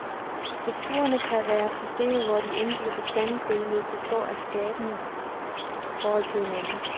Skulpturerne kan være systemer, hvor de enkelte bestanddele står i skabende forhold til hinanden.